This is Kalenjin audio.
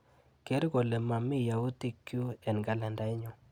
Ker kole mami yautikchu eng kalendainyu.